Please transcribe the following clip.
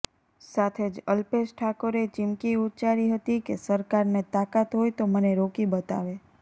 સાથે જ અલ્પેશ ઠાકોરે ચિમકી ઉચ્ચારી હતી કે સરકારને તાકાત હોય તો મને રોકી બતાવે